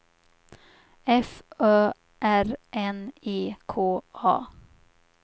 F Ö R N E K A